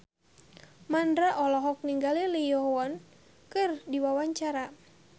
Mandra olohok ningali Lee Yo Won keur diwawancara